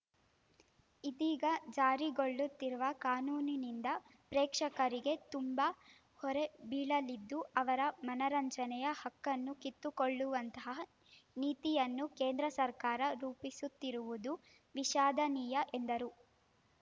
ಇದೀಗ ಜಾರಿಗೊಳ್ಳುತ್ತಿರುವ ಕಾನೂನಿನಿಂದ ಪ್ರೇಕ್ಷರಿಗೆ ತುಂಬಾ ಹೊರೆಬೀಳಲಿದ್ದು ಅವರ ಮನರಂಜನೆಯ ಹಕ್ಕನ್ನೂ ಕಿತ್ತುಕೊಳ್ಳುವಂತಹ ನೀತಿಯನ್ನು ಕೇಂದ್ರ ಸರ್ಕಾರ ರೂಪಿಸುತ್ತಿರುವುದು ವಿಷಾದನೀಯ ಎಂದರು